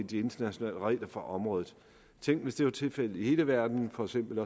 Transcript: de internationale regler på området tænk hvis det var tilfældet i hele verden for eksempel